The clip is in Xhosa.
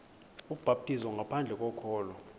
ubhaptizo ngaphandle kokholo